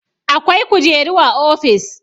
Akwai kujeru a ofis.